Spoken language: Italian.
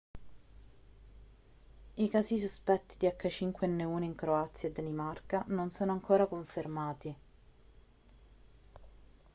i casi sospetti di h5n1 in croazia e danimarca non sono ancora confermati